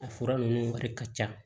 A fura ninnu wari ka ca